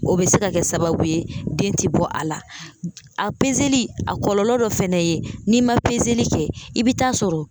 O bɛ se ka kɛ sababu ye den tɛ bɔ a la a a kɔlɔlɔ dɔ fana ye n'i ma kɛ i bɛ t'a sɔrɔ